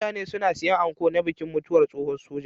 mutane suna sayan anko na bikin mutuwar tsohon soja